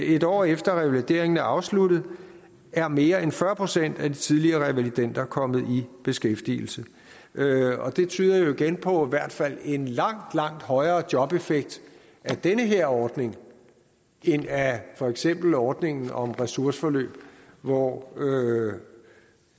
et år efter at revalideringen afsluttet er mere end fyrre procent af de tidligere revalidender kommet i beskæftigelse og det tyder jo igen på i hvert fald en langt langt højere jobeffekt af den her ordning end af for eksempel ordningen om ressourceforløb hvor